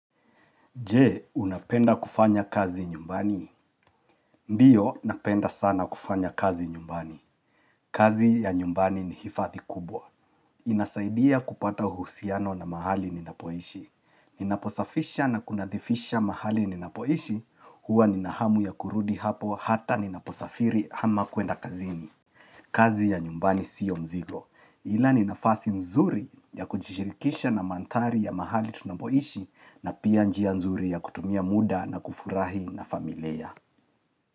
Je, unapenda kufanya kazi nyumbani? Ndiyo, napenda sana kufanya kazi nyumbani. Kazi ya nyumbani ni hifathi kubwa. Inasaidia kupata uhusiano na mahali ninapoishi. Ninaposafisha na kunadhifisha mahali ninapoishi, huwa ninahamu ya kurudi hapo hata ninaposafiri ama kwenda kazini. Kazi ya nyumbani sio mzigo. Ila ni nafasi nzuri ya kujishirikisha na mandhari ya mahali tunapoishi na pia njia nzuri ya kutumia muda na kufurahi na familia.